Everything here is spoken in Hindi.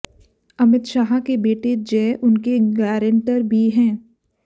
अमित शाह के बेटे जय उनके गारंटर भी हैं